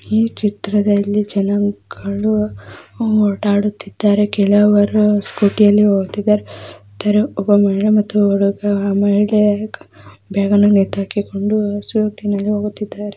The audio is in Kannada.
ಈ ಚಿತ್ರದಲ್ಲಿ ಜನರು ಓಡಾಡುತ್ತಿದ್ದಾರೆ ಕೆಲವರು ಸ್ಕೂಟಿಯಲ್ಲಿ ಹೋಗುತ್ತಿದ್ದಾರೆ ಒಬ್ಬ ಮಹಿಳೆ ಬ್ಯಾಗನ್ನು ನೇತಾಕಿಕೊಂಡು ಸ್ಕೂಟಿಯಲ್ಲಿ ಹೋಗುತ್ತಿದ್ದಾರೆ.